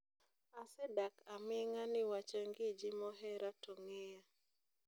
"Asedak aminga niwach angiji mohera to ngiya"